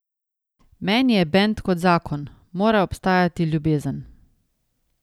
Meni je bend kot zakon, mora obstajati ljubezen.